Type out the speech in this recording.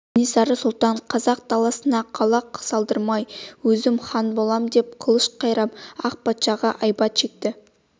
кенесары сұлтан қазақ даласына қала салдырмаймын өзім хан болам деп қылыш қайрап ақ патшаға айбат шекті